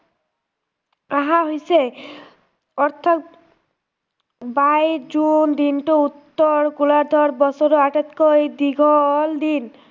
অহা হৈছে অৰ্থাৎ, বাইছ জুন দিনটো উত্তৰ ৰ বছৰৰ আটাইতকৈ দীঘল দিন